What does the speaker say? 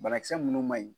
Banakisɛ minnu man ɲi